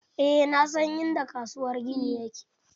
Eh na san inda kasuwar gini yake.